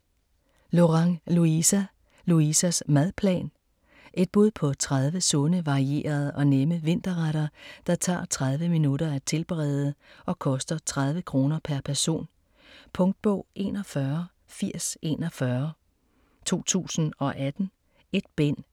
Lorang, Louisa: Louisas madplan Et bud på 30 sunde, varierede og nemme vinterretter, der tager 30 minutter at tilberede og koster 30 kr. pr. person. Punktbog 418041 2018. 1 bind.